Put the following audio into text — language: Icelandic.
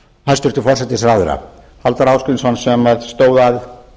hæstvirtur forsætisráðherra halldór ásgrímsson sem stóð að